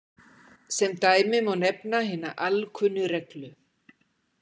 Sem dæmi má nefna hina alkunnu reglu